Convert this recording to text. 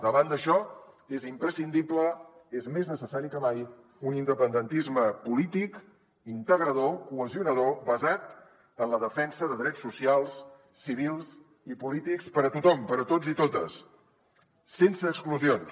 davant d’això és imprescindible és més necessari que mai un independentisme polític integrador cohesionador basat en la defensa de drets socials civils i polítics per a tothom per a tots i totes sense exclusions